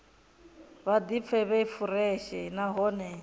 vha ḓipfe vhe fureshe nahone